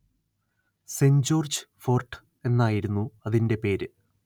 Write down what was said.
saint George Fort എന്നായിരുന്നു അതിന്റെ പേര്